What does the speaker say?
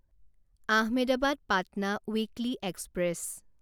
Ahmedabad Patna weekly express